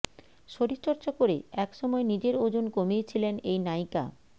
শরীরচর্চা করে এক সময় নিজের ওজন কমিয়েছিলেন এই নায়িকা